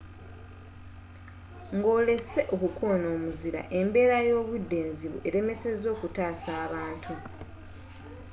ng'olesse okukona omuzira embbera y'obudde enzibu elemesezza okutasa abantu